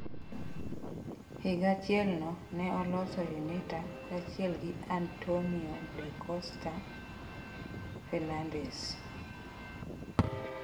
Higa achielno, ne oloso UNITA kachiel gi Antonio da Costa Fernandes.